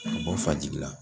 Ka bɔ Fajigila.